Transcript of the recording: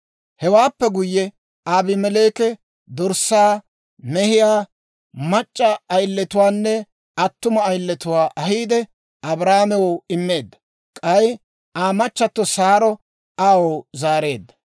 Hewaappe guyye Abimeleeki dorssaa, mehiyaa, mac'c'a ayiletuwaanne attuma ayiletuwaa ahiide, Abrahaamew immeedda; k'ay Aa machchatto Saaro aw zaareedda.